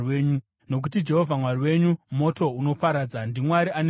Nokuti Jehovha Mwari wenyu moto unoparadza, ndiMwari ane godo.